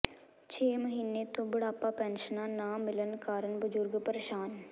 ਛੇ ਮਹੀਨੇ ਤੋਂ ਬੁਢਾਪਾ ਪੈਨਸ਼ਨਾਂ ਨਾ ਮਿਲਣ ਕਾਰਣ ਬਜ਼ੁਰਗ ਪਰੇਸ਼ਾਨ